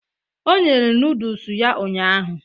O nyere nodles ya ụnyahụ.